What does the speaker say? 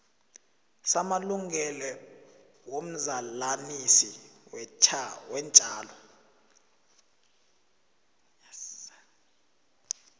samalungelo womzalanisi weentjalo